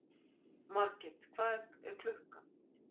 Margit, hvað er klukkan?